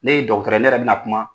Ne ye dɔkorɔrɔ, ne yɛrɛ bɛ na kuma